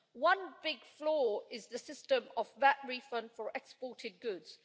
One big flaw is the system of VAT refund for exported goods.